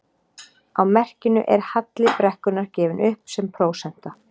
Á merkinu er halli brekkunnar gefinn upp sem prósenta.